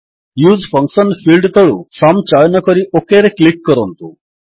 use function field ତଳୁ sum ଚୟନ କରି OKରେ କ୍ଲିକ୍ କରନ୍ତୁ